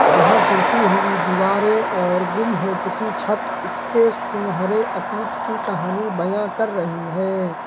जहां टूटी हुई दीवारें और गुम हो चुकी छत इसके सुनहरे अतीत की कहानी बयां कर रही है।